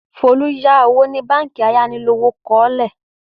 Folú yá owó ní báńkì ayánilówókọ́lé.